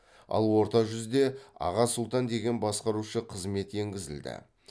ал орта жүзде аға сұлтан деген басқарушы қызмет енгізілді